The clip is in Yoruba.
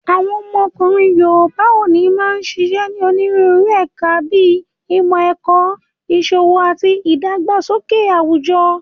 Àwọn ọkùnrin yoòbá òní máa n ṣiṣẹ́ ní onírúurú ẹ̀ka bíi ìmọ̀-ẹ̀kọ́, ìṣòwò ati ìdàgbàsókè àwùjọ